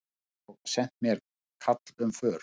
Og sent mér kall um för.